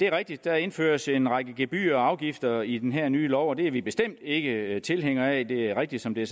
rigtigt at der indføres en række gebyrer og afgifter i den her nye lov og det er vi bestemt ikke tilhængere af det er rigtigt som det